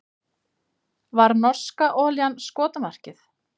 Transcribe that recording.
Var norska olían skotmarkið